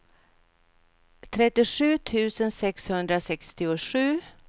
trettiosju tusen sexhundrasextiosju